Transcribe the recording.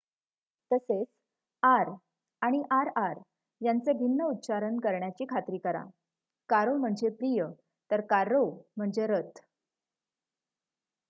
तसेच आर आणि आरआर यांचे भिन्न उच्चारण करण्याची खात्री कराः कारो म्हणजे प्रिय तर कार्रो म्हणजे रथ